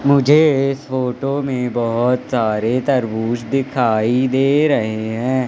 मुझे फोटो में बहोत सारे तरबूज दिखाई दे रहे हैं।